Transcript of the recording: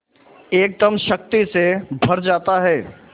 एकदम शक्ति से भर जाता है